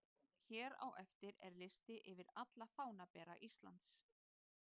Hér á eftir er listi yfir alla fánabera Íslands: